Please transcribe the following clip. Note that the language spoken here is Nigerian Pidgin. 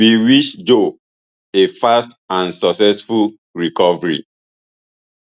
we wish joe a fast and successful recovery